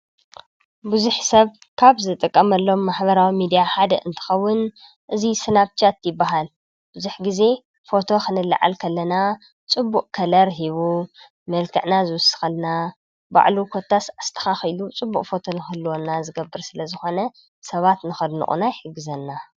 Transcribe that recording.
ብዙሕ ሰብ ካብ ዝጠቐመሎም ማሕበራዊ ሚድያ ሓደ እንትኸውን እዙይ ስናብሻት ይበሃል፡፡ ብዙሕ ጊዜ ፎቶ ኽንላዓል ከኣለና ፅቡእ ኸለር ሂቡ መልከዕና ዝውስኸልና ባዕሉ ኰታስ ኣስተኻ ኺሉ ፅቡእ ፎቶ ንኽህልወና ዝገብር ስለ ዝኾነ ሰባት ንኸድንቑና ይሕግዘና፡፡